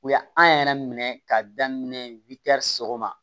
U y'an yɛrɛ minɛ k'a daminɛ sɔgɔma